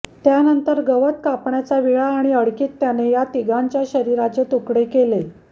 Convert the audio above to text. त्यानंतर गवत कापण्याचा विळा आणि अडकित्याने या तिघांच्या शरीराचे तुकडे केले